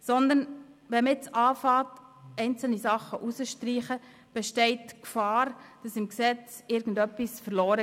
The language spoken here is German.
Zudem besteht die Gefahr, dass dem Gesetz etwas verloren geht, wenn man jetzt damit beginnt, einzelne Dinge zu streichen.